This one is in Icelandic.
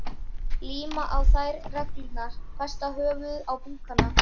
Líma á þær neglurnar, festa höfuðin á búkana.